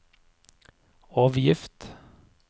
avgift